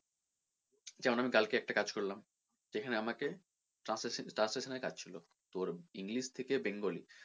যেমন আমি কালকে একটা কাজ করলাম যেখানে আমাকে translation, translation এর কাজ ছিলো তোর english থেকে bengali